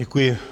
Děkuji.